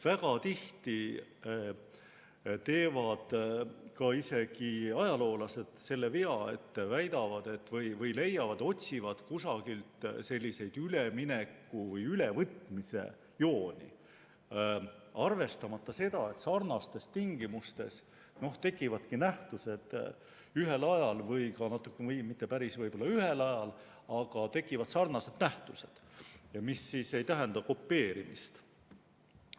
Väga tihti teevad isegi ajaloolased selle vea, et otsivad kusagilt ülemineku või ülevõtmise jooni, arvestamata seda, et sarnastes tingimustes tekivadki nähtused ühel ajal või ka mitte päris ühel ajal, aga tekivad sarnased nähtused, mis ei tähenda kopeerimist.